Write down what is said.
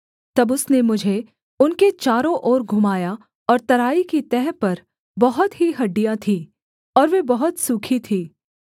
तब उसने मुझे उनके चारों ओर घुमाया और तराई की तह पर बहुत ही हड्डियाँ थीं और वे बहुत सूखी थीं